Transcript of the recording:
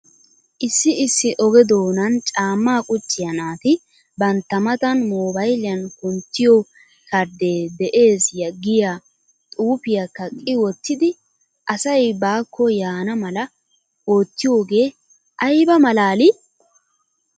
Issi issi oge doonan caammaa qucciyaa naati bantta matan moobayliyaan kunttiyo kardde de'ees giyaa xuufiyaa kaqqi wottidi asay baakko yaana mala oottiyoogee ayba malaalii?